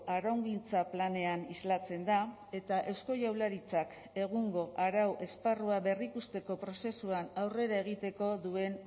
araugintza planean islatzen da eta eusko jaurlaritzak egungo arau esparrua berrikusteko prozesuan aurrera egiteko duen